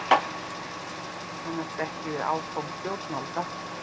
Kannast ekki við áform stjórnvalda